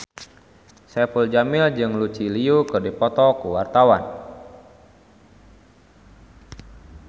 Saipul Jamil jeung Lucy Liu keur dipoto ku wartawan